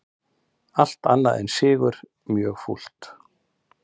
Allt annað en sigur mjög fúlt